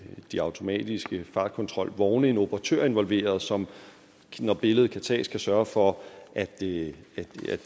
de automatiske fartkontrolvogne en operatør involveret som når billedet kan tages kan sørge for at det